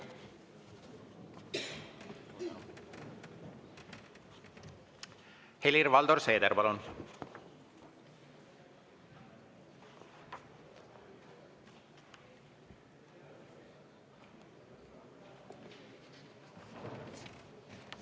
Helir-Valdor Seeder, palun!